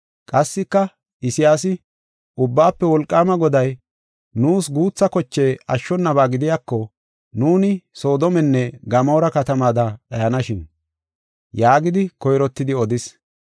Qassika Isayaasi, “Ubbaafe Wolqaama Goday nuus guutha koche ashshonaba gidiyako, nuuni Soodomenne Gamoora katamaada dhayanashin” yaagidi koyrottidi odis.